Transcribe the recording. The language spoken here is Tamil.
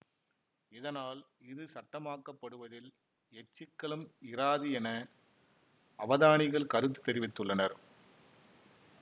இதனால் இது சட்டமாக்கப்படுவதில் எச்சிக்கலும் இராது என அவதானிகள் கருத்து தெரிவித்துள்ளனர்